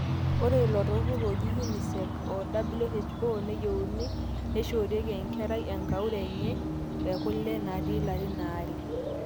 ore ilo turrur oji UNICEF, WHO, neyieuni nishorieki enkerai enkauri enye kulebnaata ilarin aare